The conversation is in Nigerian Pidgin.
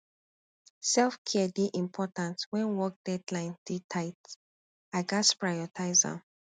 selfcare dey important when work deadlines dey tight i gats prioritize am